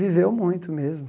Viveu muito mesmo.